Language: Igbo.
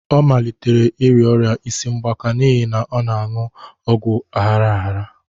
Ọ malitere ịrịa ọrịa isi mgbaka n'ihi na ọ na-anu ọgwụ aghara aghara